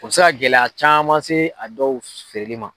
U bɛ se ka gɛlɛya caman se a dɔw feereli ma.